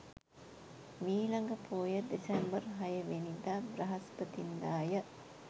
මීළඟ පෝය දෙසැම්බර් 06 වැනි දා බ්‍රහස්පතින්දා ය.